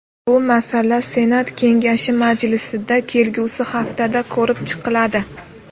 Bu masala Senat kengashi majlisida kelgusi haftada ko‘rib chiqiladi.